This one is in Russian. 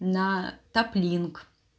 на таплинк